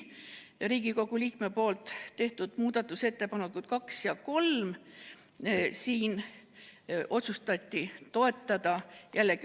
Riigikogu liikme proua Helmen Küti tehtud muudatusettepanekuid 2 ja 3 otsustati toetada sisuliselt.